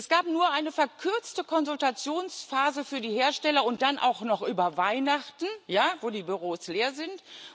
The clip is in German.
Es gab nur eine verkürzte Konsultationsphase für die Hersteller und dann auch noch über Weihnachten ja, wo die Büros leer sind.